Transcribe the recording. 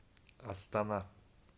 астана